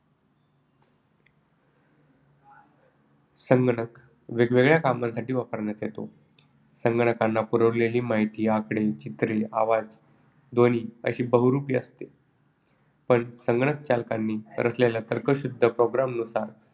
संगणक वेगवेगळ्या कामांसाठी वापरण्यात येतो. संगणकांना पुरवलेली माहिती आकडे, चित्रे, आवाज, ध्वनी अशी बहुरूपी असू शकते, पण संगणक संचालकांनी रचलेल्या तर्कशुद्ध program नुसार